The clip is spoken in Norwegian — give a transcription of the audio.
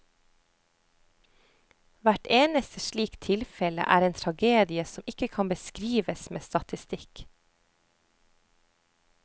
Hvert eneste slikt tilfelle er en tragedie som ikke kan beskrives med statistikk.